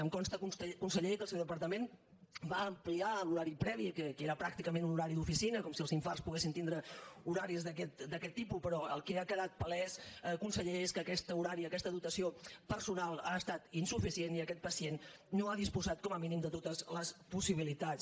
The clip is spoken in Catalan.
em consta conseller que el seu departament va am·pliar l’horari previ que era pràcticament un horari d’oficina com si els infarts poguessin tindre horaris d’aquest tipus però el que ha quedat palès conseller és que aquest horari aquesta dotació personal ha estat insuficient i aquest pacient no ha disposat com a mí·nim de totes les possibilitats